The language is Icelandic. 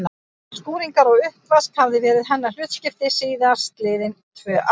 Skúringar og uppvask hafði verið hennar hlutskipti síðast liðin tvö ár.